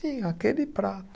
Sim, aquele prato.